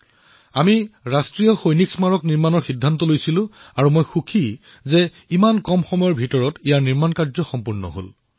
আমি ৰাষ্ট্ৰীয় সৈনিক স্মাৰক নিৰ্মাণৰ সিদ্ধান্ত গ্ৰহণ কৰিলো আৰু মই সুখী যে এই স্মাৰক অতিশয় কম সময়ৰ ভিতৰতে নিৰ্মাণ হৈ উঠিছে